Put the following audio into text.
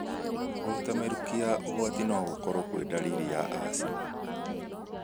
Kũruta mĩrukĩ ya ũgwati no gũkorwo kwĩ ndariri ya asthma.